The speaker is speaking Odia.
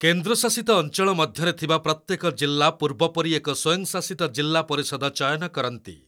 କେନ୍ଦ୍ର ଶାସିତ ଅଞ୍ଚଳ ମଧ୍ୟରେ ଥିବା ପ୍ରତ୍ୟେକ ଜିଲ୍ଲା ପୂର୍ବ ପରି ଏକ ସ୍ୱୟଂଶାସିତ ଜିଲ୍ଲା ପରିଷଦ ଚୟନ କରନ୍ତି।